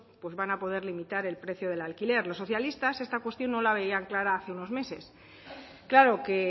van a poder limitar el precio del alquiler los socialistas esta cuestión no la veían clara hace unos meses claro que